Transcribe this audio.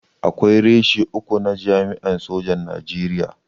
Akwai reshe uku na jami'an sojin Najeriya.